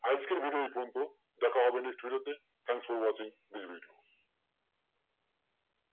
আজকের video এই পর্যন্তই দেখা হবে next video তে thanks for watching this video